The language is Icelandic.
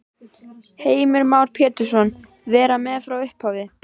Heimir Már Pétursson: Vera með frá upphafi?